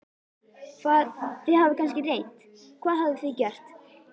Hvað, þið hafið kannski reynt, hvað hafið þið gert?